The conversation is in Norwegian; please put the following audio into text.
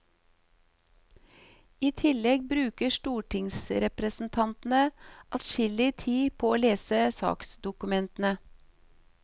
I tillegg bruker stortingsrepresentantene adskillig tid på å lese saksdokumentene.